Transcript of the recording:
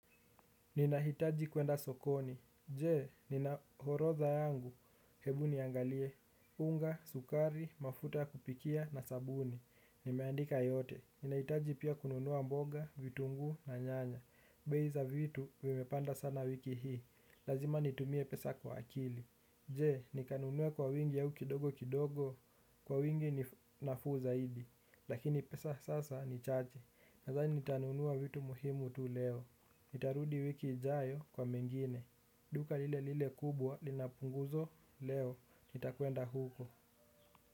Ninahitaji kwenda sokoni, je, nina orodha yangu? hebu niangalie. Unga, sukari, mafuta ya kupikia na sabuni, nimeandika yote, ninahitaji pia kununua mboga, vitunguu na nyanya, bei za vitu vimepanda sana wiki hii, lazima nitumie pesa kwa akili. Je, ni kanunua kwa wingi ya u kidogo kidogo? kwa wingi ni nafuu zaidi. Lakini pesa sasa ni chache. Nadhani nitanunua vitu muhimu tu leo. Nitarudi wiki ijayo kwa mengine. Duka lile lile kubwa, linapunguzo leo. Nitakwenda huko.